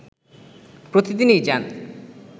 প্রতিদিনই যান